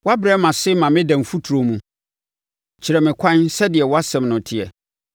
Woabrɛ me ase ma meda mfuturo mu. Kyɛe me nkwa so sɛdeɛ wʼasɛm no teɛ.